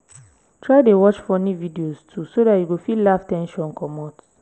try dey watch funny videos too so dat you go fit laugh ten sion comot